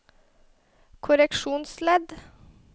korreksjonsledd